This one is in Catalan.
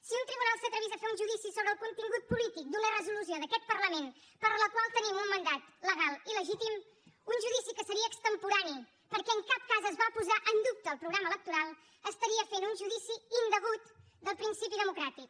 si un tribunal s’atrevís a fer un judici sobre el contingut polític d’una resolució d’aquest parlament per a la qual tenim un mandat legal i legítim un judici que seria extemporani perquè en cap cas es va posar en dubte el programa electoral estaria fent un judici indegut del principi democràtic